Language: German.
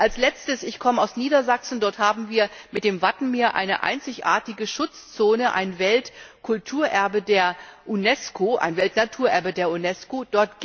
Als Letztes Ich komme aus Niedersachsen, und dort haben wir mit dem Wattenmeer eine einzigartige Schutzzone, ein Weltnaturerbe der Unesco.